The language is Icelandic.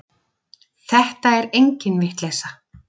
Þetta er engin vitleysa.